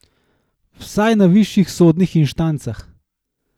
Vsaj na višjih sodnih inštancah.